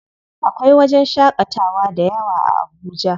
Akwai wajen shaƙatawa dayawa a Abuja.